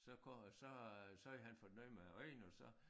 Så kom så øh så havde han fået noget med æ øjne og så